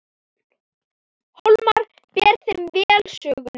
Hólmar ber þeim vel söguna.